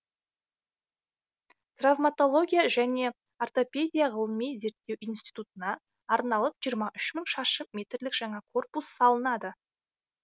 травматология және ортопедия ғылыми зерттеу институтына арналып жиырма үш мың шаршы метрлік жаңа корпус салынады